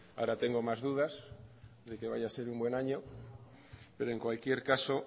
ahora tengo más dudas de que vaya a ser un buen año pero en cualquier caso